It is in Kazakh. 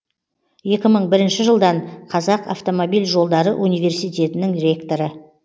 екі мың бірінші жылдан қазақ автомобиль жолдары университетінің ректоры